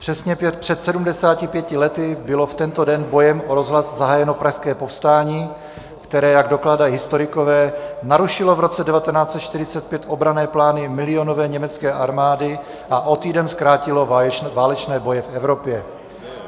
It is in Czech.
Přesně před 75 lety bylo v tento den bojem o rozhlas zahájeno Pražské povstání, které, jak dokládají historikové, narušilo v roce 1945 obranné plány milionové německé armády a o týden zkrátilo válečné boje v Evropě.